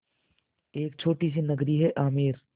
एक छोटी सी नगरी है आमेर